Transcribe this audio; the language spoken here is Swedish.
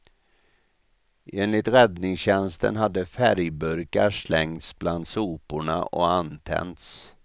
Enligt räddningstjänsten hade färgburkar slängts bland soporna och antänts.